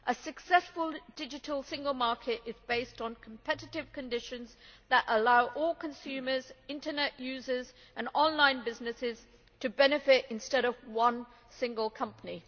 A successful Digital Single Market is based on competitive conditions that allow all consumers, internet users and online businesses to benefit, instead of one single company.